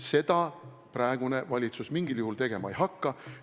Seda praegune valitsus mingil juhul tegema ei hakka.